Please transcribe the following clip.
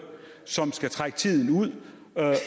som skal trække tiden ud